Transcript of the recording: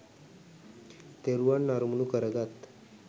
තෙරුවන් අරමුණු කරගත්